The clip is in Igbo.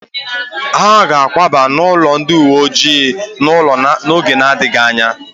Ha ga akwaba n'ụlọ ndị uwe ojii n'oge na-adịghị anya